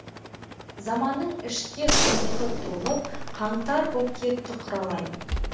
заманның ішке сұмдығы толып қаңтар боп кетті құралай